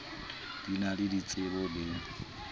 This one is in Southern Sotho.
di na le ditsebo le